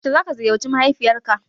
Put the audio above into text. Yaushe za ka ziyarci mahaifiyar ka